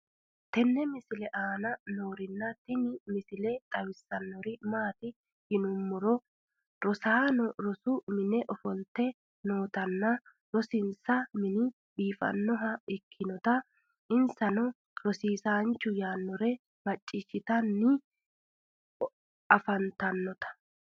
tenne misile aana noorina tini misile xawissannori maati yinummoro rosaanno rosu minne offolitte noottinna rosinsa minni biiffannoha ikkinnotta insanno rosiisanchu yaanore maciishshittanni afanttannota